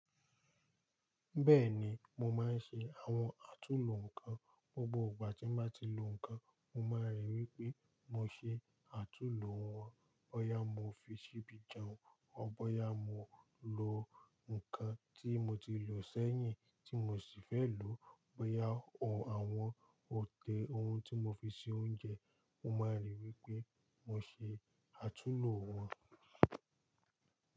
Bẹ́ẹ̀ni, mo máa ń ṣe àwọn àtúnlo nǹkan. Gbogbo ìgbà tí mo bá ti lo nǹkan, mo máa ríi wí pé mo ṣe àtúnlo wọn. Bo ya mo fi ṣíbí jẹun, bo yà mo lo nǹkan tí mo ti lò sẹ́yìn tí mo sì fẹ́ lò ó, bọ̀yá ohun àwọn ode ohun tí mo fi ṣe oúnjẹ, mo máa rí wí pé mo ṣe àtúnlo wọn.